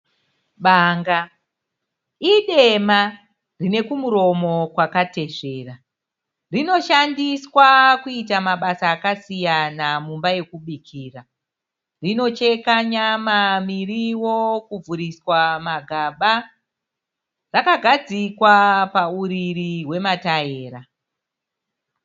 Banga idema, rine kumuromo kwakatesvera. Rinoshandiswa kuita mabasa akasiyana mumba yokubikira . Rinocheka nyama, miriwo , kuvhuriswa magaba. Rakagadzikwa pauriri hwema taera.